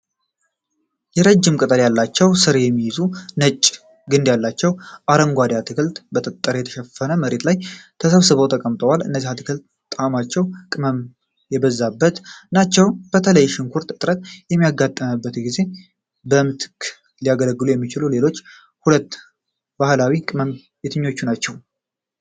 የረጅም ቅጠል ያላቸውና ሥር የሚይዙ ነጭ ግንድ ያላቸው አረንጓዴ አትክልቶች በ ጠጠር በተሸፈነ መሬት ላይ ተሰብስበው ተቀምጠዋል። እነዚህ አትክልቶች ጣዕማቸው ቅመም የበዛባቸው ናቸው። በተለይ ሽንኩርት እጥረት በሚያጋጥምበት ጊዜ በምትክነት ሊያገለግሉ የሚችሉ ሌሎች ሁለት ባህላዊ ቅመሞች የትኞቹናቸው?